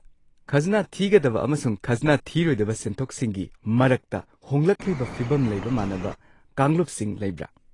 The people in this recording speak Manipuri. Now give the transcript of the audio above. ꯈꯖꯅꯥ ꯊꯤꯒꯗꯕ ꯑꯃꯁꯨꯡ ꯈꯖꯅꯥ ꯊꯤꯔꯣꯏꯗꯕ ꯁꯦꯟꯊꯣꯛꯁꯤꯡꯒꯤ ꯃꯔꯛꯇ ꯍꯣꯡꯂꯛꯂꯤꯕ ꯐꯤꯕꯝ ꯂꯩꯕ ꯃꯥꯟꯅꯕ ꯀꯥꯡꯂꯨꯞꯁꯤꯡ ꯂꯩꯕ꯭ꯔꯥ?